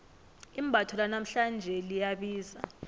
imbatho lanamhlanje liyabiza